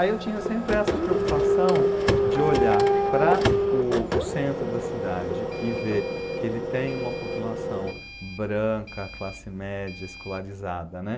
Aí eu tinha sempre essa preocupação de olhar para o o centro da cidade e ver que ele tem uma população branca, classe média, escolarizada, né?